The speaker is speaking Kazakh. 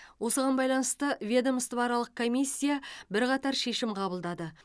осыған байланысты ведомствоаралық комиссия бірқатар шешім қабылдады